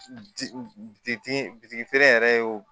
Di bitigi bitigi feere yɛrɛ y'o